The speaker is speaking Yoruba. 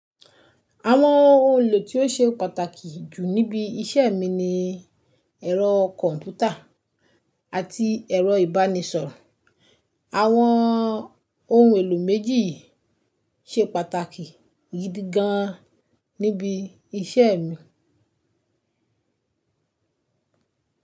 Àwọn ohun èlò tí ó ṣe pàtàkì jù níbi iṣẹ́ mi ni ẹ̀rọ kọ̀m̀pútà àti ẹ̀rọ ìbánisọ̀rọ̀. Àwọn ohun èlò méjì yìí ṣe pàtàkì gidi gan níbi iṣẹ́ mi.